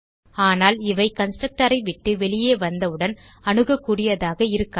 ஆனால் இவை கன்ஸ்ட்ரக்டர் ஐ விட்டு வெளியே வந்தவுடன் அணுகக்கூடியதாக இருக்காது